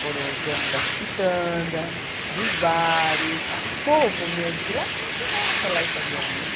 Foram os donos das quitandas, dos bares, o povo mesmo de lá que me ensinaram a falar italiano. Uhum.